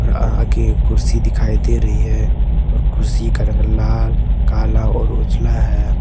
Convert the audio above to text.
आगे एक कुर्सी दिखाई दे रही है और कुर्सी का रंग लाल काला और ओझला है।